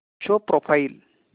show profile